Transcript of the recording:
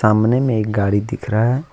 सामने में एक गाड़ी दिख रहा है।